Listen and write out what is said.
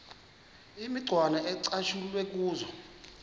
imicwana ecatshulwe kuzo